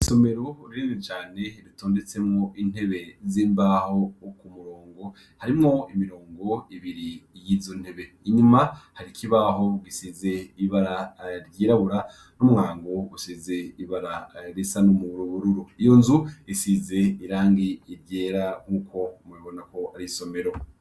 Isomero rinini cane ritondetsemwo intebe z' imbaho kumurongo harimwo imirongo ibiri y' izo ntebe inyuma hariho ikibaho gisize ibara ryirabura n' umwango usize ibara risa n' ubururu iyo nzu isize irangi ryera nkuko mubibona ko ari isomero.